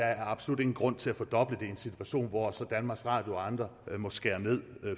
er absolut ingen grund til at fordoble det i en situation hvor danmarks radio og andre så må skære ned